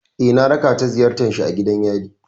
Eh, na raka ta ziyartar shi a gidan yari.